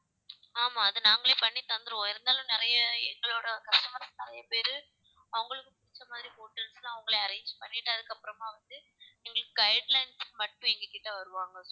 ஆமா அது நாங்களே பண்ணி தந்திடுவோம் இருந்தாலும் நிறைய எங்களோட customers நிறைய பேரு அவங்களுக்கு பிடிச்ச மாதிரி hotels தான் அவங்களே arrange பண்ணிட்டு அதுக்கு அப்புறமா வந்து எங்களுக்கு guidelines மட்டும் எங்ககிட்ட வருவாங்க